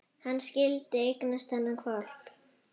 Hann skyldi eignast þennan hvolp!